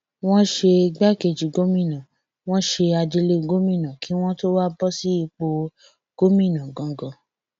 wọn ṣe igbákejì gómìnà wọn ṣe adelé gómìnà kí wọn tóó wáá bọ sípò gómìnà ganan